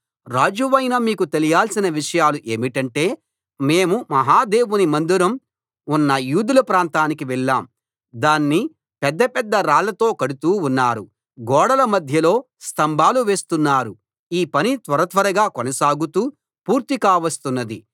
రాజువైన మీకు తెలియాల్సిన విషయాలు ఏమిటంటే మేము మహా దేవుని మందిరం ఉన్న యూదుల ప్రాంతానికి వెళ్ళాం దాన్ని పెద్ద పెద్ద రాళ్లతో కడుతూ ఉన్నారు గోడల మధ్యలో స్థంభాలు వేస్తున్నారు ఈ పని త్వరత్వరగా కొనసాగుతూ పూర్తి కావస్తున్నది